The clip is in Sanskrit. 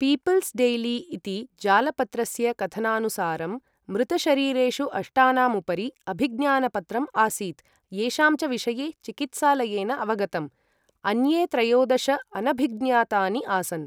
पीपल्स् डैली इति जालपत्रस्य कथनानुसारम्, मृतशरीरेषु अष्टानाम् उपरि अभिज्ञानपत्रम् आसीत् येषां च विषये चिकित्सालयेन अवगतम्, अन्ये त्रयोदश अनभिज्ञातानि आसन्।